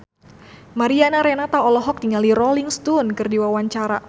Mariana Renata olohok ningali Rolling Stone keur diwawancara